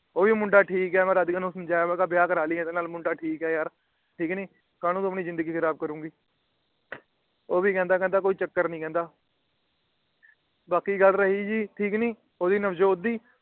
ਉਹ ਵੀ ਮੁੰਡਾ ਠੀਕ ਏ। ਮੈ ਰਾਧਿਕਾ ਨੂੰ ਸਮਝਾਇਆ ਕਿ ਵਿਆਹ ਕਰਾ ਲਈ ਇਹਦੇ ਨਾਲ ਮੁੰਡਾ ਠੀਕ ਏ ਯਾਰ। ਠੀਕ ਕੀ ਨਹੀਂ ਕਾਹਨੂੰ ਤੂੰ ਆਪਣੀ ਜਿੰਦਗੀ ਖ਼ਰਾਬ ਕਰੂਗੀ । ਉਹ ਵੀ ਕਹਿੰਦਾ ਕਹਿੰਦਾ ਕੋਈ ਚੱਕਰ ਨਹੀਂ ਕਹਿੰਦਾ ਬਾਕੀ ਗੱਲ ਰਹੀ ਜੀ ਠੀਕ ਕੀ ਨਹੀਂ ਉਹਦੀ ਨਵਜੋਤ ਦੀ